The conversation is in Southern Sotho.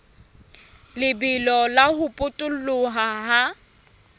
lebelo la ho potoloha ha